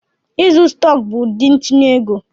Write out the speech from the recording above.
Ịzụ stọk bụ ụdị ntinye ego.